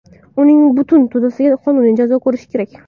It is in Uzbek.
Uning butun to‘dasiga qonuniy jazo ko‘rish kerak.